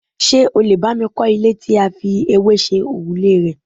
Ṣé o lè bay I kọ́ ilé tí a fi ewé ṣe òrùlé rẹ̀?